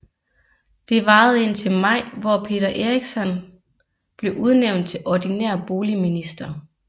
Det varede indtil maj hvor Peter Eriksson blev udnævnt til ordinær boligminister